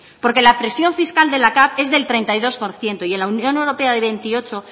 porque la presión fiscal de la capv es el treinta y dos por ciento y en la unión europea del veintiocho